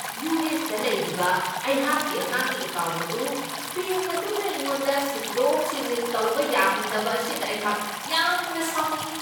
ꯌꯨ.ꯑꯦꯁ.ꯇ ꯂꯩꯔꯤꯕ ꯑꯩꯍꯥꯛꯀꯤ ꯑꯉꯥꯡꯒꯤ ꯑꯦꯀꯥꯎꯟꯠ ꯑꯗꯨ ꯕꯦꯡꯛ ꯑꯗꯨꯅ ꯑꯩꯉꯣꯟꯗ ꯁꯤꯟꯗꯣꯛ ꯁꯤꯟꯖꯤꯟ ꯇꯧꯕ ꯌꯥꯍꯟꯗꯕ ꯑꯁꯤꯗ ꯑꯩꯍꯥꯛ ꯌꯥꯝꯅ ꯁꯥꯎꯅꯤꯡꯢ꯫